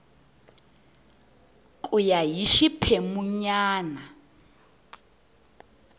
ku ya hi xiphemu nyana